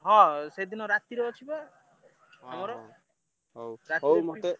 ହଁ ସେଦିନ ରାତିରେ ଅଛି ବା ହଉ ହଉ ମତେ,